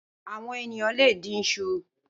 Awòn éniyàn lé dín iṣú